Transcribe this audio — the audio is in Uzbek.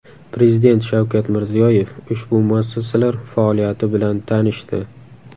Prezident Shavkat Mirziyoyev ushbu muassasalar faoliyati bilan tanishdi.